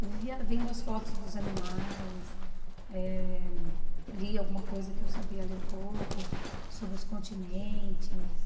Eu vivia vendo as fotos dos animais, eh lia alguma coisa que eu sabia, lia um pouco sobre os continentes.